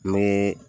Ni